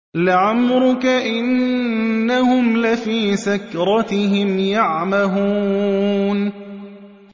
لَعَمْرُكَ إِنَّهُمْ لَفِي سَكْرَتِهِمْ يَعْمَهُونَ